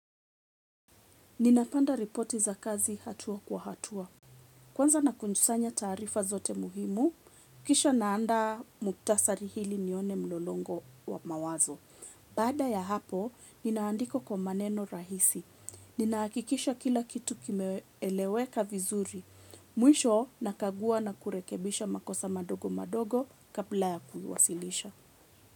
Ninapanda ripoti za kazi hatua kwa hatua. Kwanza na kunjusanya tarifa zote muhimu, kisha naanda muktasari hili nione mlolongo wa mawazo. Bada ya hapo, ninaandika kwa maneno rahisi. Ninaakikisha kila kitu kimeeleweka vizuri. Mwisho, nakagua na kurekebisha makosa madogo madogo kabla ya kuhuwasilisha.